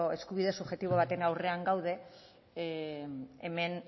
eskubide subjektibo baten aurrean gaude hemen